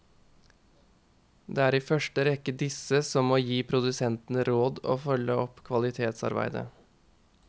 Det er i første rekke disse som må gi produsentene råd og følge opp kvalitetsarbeidet.